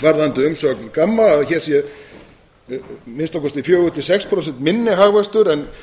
varðandi umsögn gamma að hér sé að minnsta kosti fjögur til sex prósent minni hagvöxtur en